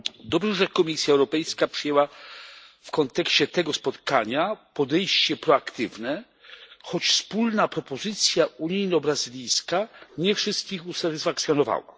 Dobrze, że Komisja Europejska przyjęła w kontekście tego spotkania podejście proaktywne, choć wspólna propozycja unijno brazylijska nie wszystkich usatysfakcjonowała.